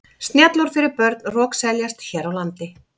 Snjallúr fyrir börn rokseljast hér á landi.